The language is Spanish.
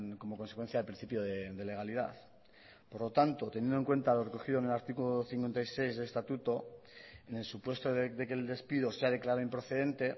como consecuencia del principio de legalidad por lo tanto teniendo en cuenta lo recogido en el artículo cincuenta y seis del estatuto en el supuesto de que el despido sea declarado improcedente